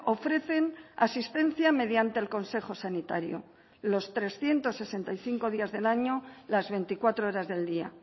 ofrecen asistencia mediante el consejo sanitario los trescientos sesenta y cinco días del año las veinticuatro horas del día